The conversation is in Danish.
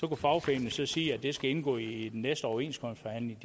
kunne fagforeningen så sige at det skulle indgå i de næste overenskomstforhandlinger